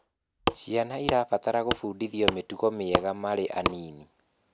Ciana irabatara gubundithio mitugo miega mari anini